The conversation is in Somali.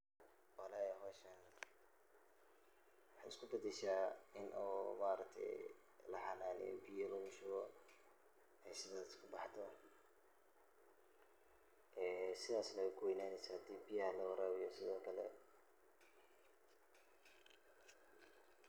Walahi, meshan waxay iskubadasha maaragte in oo laxananeye biya lugushube oo sidas kubaxdhe, sidas ay kuweynanesa marki biyaha lawaribiyo sidokale.